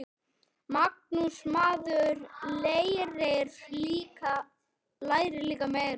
Magnús: Maður lærir líka meira.